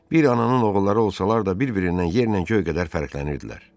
Bir ananın oğulları olsalar da bir-birindən yerlə göy qədər fərqlənirdilər.